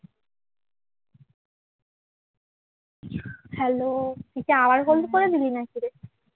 hello তুই কি আবার hold করে দিলি নাকি রে